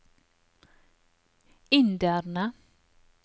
inderne